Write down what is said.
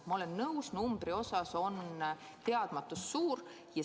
Ma olen nõus, numbri osas on teadmatus suur.